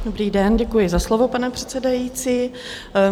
Dobrý den, děkuji za slovo, pane předsedající.